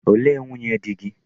Olee nwunye di gị?